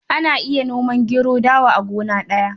Ana iya noma gero da dawa a gona guda.